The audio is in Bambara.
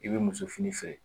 I bɛ muso fini feere